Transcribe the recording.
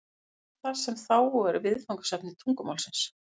Hvað er það sem þá er viðfangsefni tungumálsins?